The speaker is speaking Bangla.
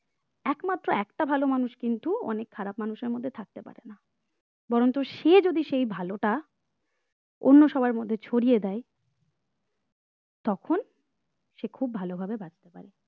একমাত্র একটা ভালো মানুষ কিন্তু অনেক খারাপ মানুষের মধ্যে থাকতে পারে না বরঞ্চ সে যদি সেই ভালোটা অন্য সবার মধ্যে ছড়িয়ে দেয় তখন সে খুব ভালো ভাবে বাঁচতে পারে।